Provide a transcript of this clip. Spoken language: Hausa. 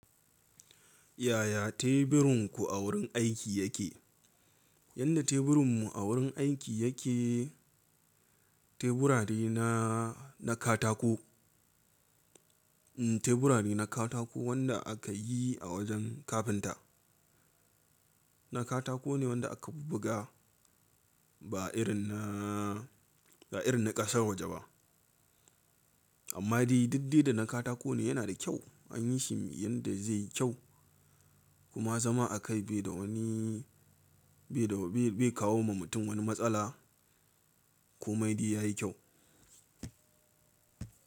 Yaya tebirinku a wurin aiki yake? Yanda teburin mu a wurin aiki yake teburadi na, na katako. Mm teburadi na katako wanda aka yi a wajen kafinta. Na katako ne wanda aka buga ba irin na, ba irin na ƙasar waje ba. Amma dai duk dai da na katako ne yana da kyau anyi shi yanda zai yi kyau kuma zama a kai bai da wani, bai da, bai kawo ma mutum wani matsala ko mai dai yayi kyau.